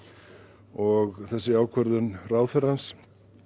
og þessi ákvörðun ráðherrans